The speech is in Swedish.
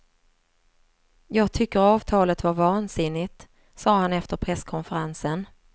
Jag tycker avtalet var vansinnigt, sa han efter presskonferensen.